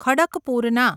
ખડકપુરના